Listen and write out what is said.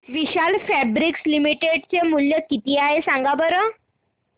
विशाल fabrics share चे मूल्य किती आहे सांगा बरं